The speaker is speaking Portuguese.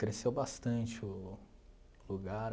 Cresceu bastante o lugar.